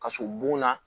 Kaso bon na